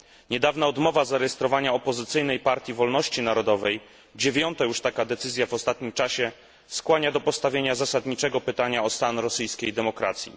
Niedawna odmowa zarejestrowania opozycyjnej Partii Wolności Narodowej, dziewiąta już taka decyzja w ostatnim czasie, skłania do postawienia zasadniczego pytania o stan rosyjskiej demokracji.